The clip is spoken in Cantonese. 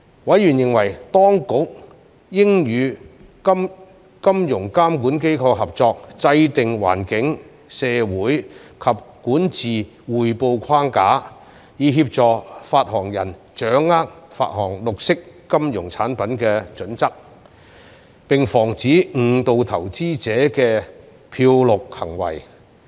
委員認為當局應與金融監管機構合作制訂環境、社會及管治匯報框架，以協助發行人掌握發行綠色金融產品的準則，並防止誤導投資者的"漂綠"行為。